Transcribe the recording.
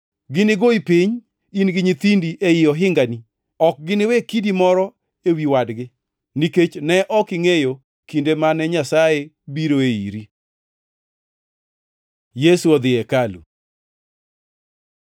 Ginigoyi piny, in gi nyithindi ei ohingani ok giniwe kidi moro ewi wadgi, nikech ne ok ingʼeyo kinde mane Nyasaye biroe iri.” Yesu odhi e hekalu